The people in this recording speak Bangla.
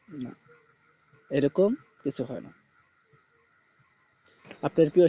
না ওরকম কিছু হয়না আপনার প্রিয় শিল্পী কে